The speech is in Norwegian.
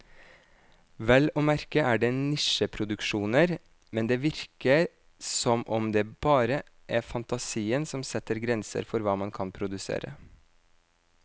Vel å merke er det nisjeproduksjoner, men det virker som om det bare er fantasien som setter grenser for hva man kan produsere.